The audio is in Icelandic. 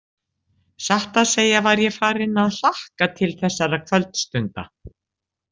Satt að segja var ég farinn að hlakka til þessara kvöldstunda.